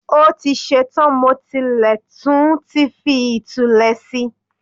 Ó ti ṣe tán, mo tilẹ̀ tún ti fi ìtulẹ̀ si